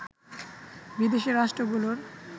বিদেশী রাষ্ট্রগুলোর